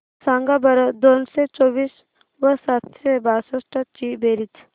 सांगा बरं दोनशे चोवीस व सातशे बासष्ट ची बेरीज